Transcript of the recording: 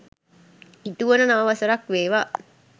ඉටුවන නව වසරක් වේවා.